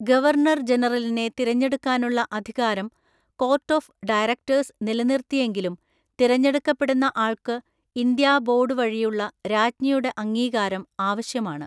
Governor ജനറലിനെ തിരഞ്ഞെടുക്കാനുള്ള അധികാരം കോർട്ട് ഓഫ് ഡയറക്‌ടേഴ്‌സ് നിലനിർത്തിയെങ്കിലും തിരഞ്ഞെടുക്കപ്പെടുന്ന ആൾക്ക് ഇന്ത്യാ ബോർഡ് വഴിയുള്ള രാജ്ഞിയുടെ അംഗീകാരം ആവശ്യമാണ്.